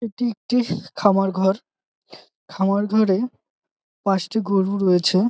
এইটি একটি খামার ঘর খামার ঘরে পাঁচটি গরু রয়েছে।